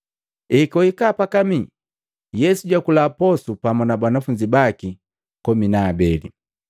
Ekwahika pakamii, Yesu jakula posu pamu na banafunzi baki komi na abeli.